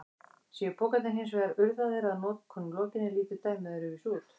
Séu pokarnir hins vegar urðaðir að notkun lokinni lítur dæmið öðruvísi út.